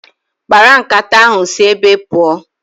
Mkparu nkata ahụ si ébé pụọ